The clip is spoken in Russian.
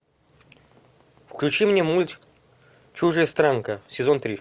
включи мне мультик чужестранка сезон три